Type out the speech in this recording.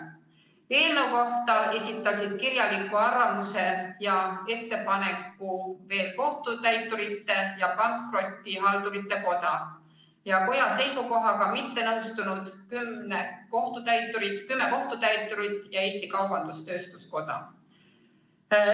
Eelnõu kohta esitasid kirjaliku arvamuse ja ettepaneku ka Kohtutäiturite ja Pankrotihaldurite Koda, kümme koja seisukohaga mittenõustunud kohtutäiturit ning Eesti Kaubandus-Tööstuskoda.